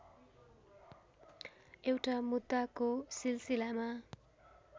एउटा मुद्दाको सिलसिलामा